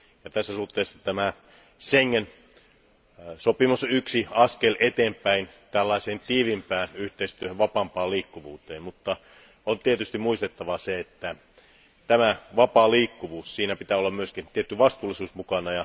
Tässä suhteessa Schengen sopimus on yksi askel eteenpäin tällaiseen tiiviimpään yhteistyöhön, vapaampaan liikkuvuuteen, mutta on tietysti muistettava, että vapaassa liikkuvuudessa pitää olla myös tietty vastuullisuus mukana.